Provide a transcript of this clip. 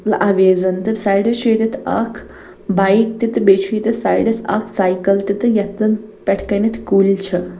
اویزن تہٕ سایڈس چُھ ییٚتٮ۪تھ اکھ بایک .تہِ تہٕ بیٚیہِ چُھ ییٚتٮ۪تھ سایڈس اکھ ساییکل تہِ تہٕ یتھ زن پٮ۪ٹھہٕ کنٮ۪تھکُلۍ چھ